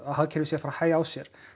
hagkerfið sé að fara hæga á sér